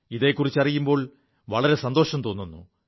ഇതെക്കുറിച്ച് അറിയുമ്പോൾ വളരെ സന്തോഷം തോുു